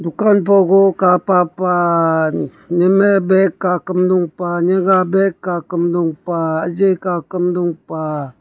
dukan pogu kapa pah nimey bag ka kamdong niga kakam dong pah ejii kam dong pah.